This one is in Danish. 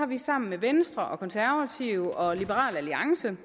vi sammen med venstre konservative og liberal alliance